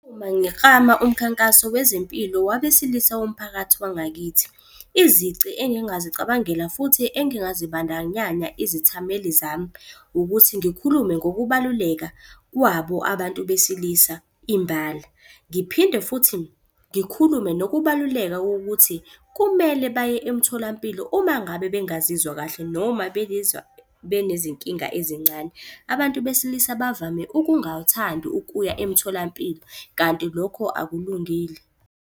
Uma ngiklama umkhankaso wezempilo wabesilisa womphakathi wangakithi, izici engingazicabangela futhi engazibandakanya izithameli zami ukuthi ngikhulume ngokubaluleka kwabo abantu besilisa imbala. Ngiphinde futhi ngikhulume nokubaluleka kokuthi kumele baye emtholampilo uma ngabe bengazizwa kahle noma benezinkinga ezincane. Abantu besilisa bavame ukungathandi ukuya emtholampilo kanti lokho akulungile.